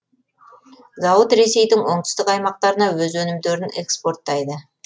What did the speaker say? зауыт ресейдің оңтүстік аймақтарына өз өнімдерін экспорттайды